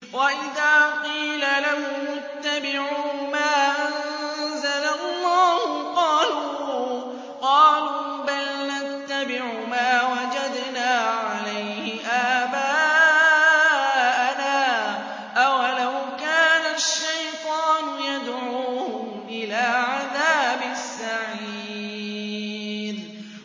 وَإِذَا قِيلَ لَهُمُ اتَّبِعُوا مَا أَنزَلَ اللَّهُ قَالُوا بَلْ نَتَّبِعُ مَا وَجَدْنَا عَلَيْهِ آبَاءَنَا ۚ أَوَلَوْ كَانَ الشَّيْطَانُ يَدْعُوهُمْ إِلَىٰ عَذَابِ السَّعِيرِ